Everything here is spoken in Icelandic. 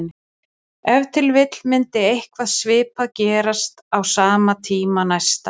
Ef til vill myndi eitthvað svipað gerast á sama tíma næsta ár.